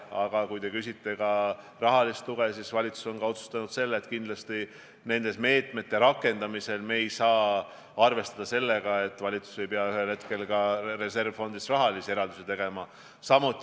Aga kui te küsite rahalise toe kohta, siis valitsus on otsustanud, et kindlasti nende meetmete rakendamisel me ei saa arvestada sellega, et valitsus ei pea ühel hetkel reservfondist raha eraldama.